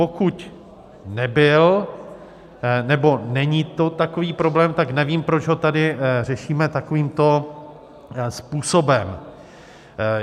Pokud nebyl nebo není to takový problém, tak nevím, proč ho tady řešíme takovýmto způsobem.